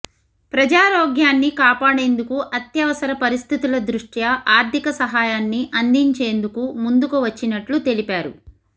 ప్రజారోగ్యాన్ని కాపాడేందుకు అత్యవసర పరిస్థితుల దృష్ట్యా ఆర్థిక సహాయాన్ని అందించేందుకు ముందుకు వచ్చినట్లు తెలిపారు